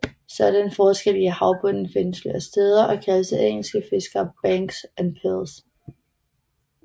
Sådanne forskelle i havbunden findes flere steder og kaldes af engelske fiskere banks og pils